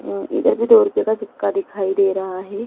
इधर भी दो रूपए का सिक्का दिखाई दे रहा है।